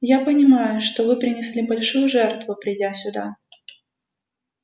я понимаю что вы принесли большую жертву придя сюда